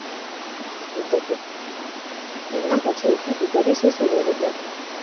અને પછી બીજા દિવેસ શું હોય મતલબ